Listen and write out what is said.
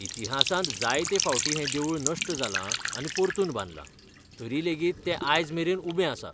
इतिहासांत जायते फावटीं हें देवूळ नश्ट जालां आनी परतून बांदलां, तरी लेगीत तें आयज मेरेन उबें आसा!